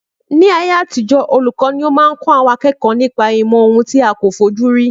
Ni ayé àtijọ́ olùkọ́ ni ó máa ń kó àwọn akẹ́kọ̀ọ́ nípa ìmò ohun tí a kò fojú rí